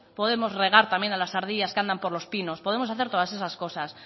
podemos regar también a las ardillas que andan por los pinos podemos hacer todas esas cosas